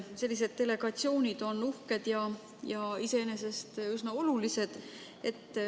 Sellised delegatsioonid on uhked ja iseenesest üsna olulised.